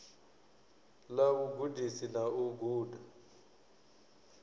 ḽa vhugudisi na u guda